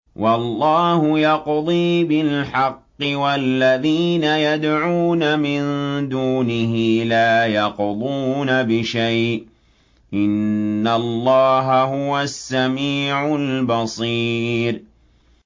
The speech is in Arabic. وَاللَّهُ يَقْضِي بِالْحَقِّ ۖ وَالَّذِينَ يَدْعُونَ مِن دُونِهِ لَا يَقْضُونَ بِشَيْءٍ ۗ إِنَّ اللَّهَ هُوَ السَّمِيعُ الْبَصِيرُ